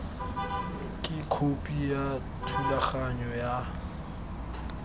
ke khopi ya thulaganyo ya